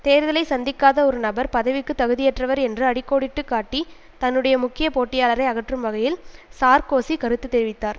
தேர்தலை சந்திக்காத ஒரு நபர் பதவிக்கு தகுதியற்றவர் என்று அடி கோடிட்டு காட்டி தன்னுடைய முக்கிய போட்டியாளரை அகற்றும் வகையில் சார்க்கோசி கருத்து தெரிவித்தார்